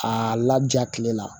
A laja kile la